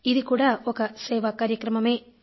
ఇది కూడా ఒక సేవా కార్యక్రమమే